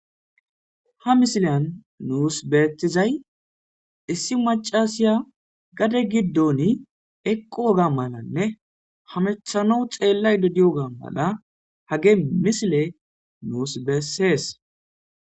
Ha misilan nuus betizay issi macasiya gade giddoni eqqu woga malanne hamethano xeellay dodiyoga mala hage misile nuus beessees.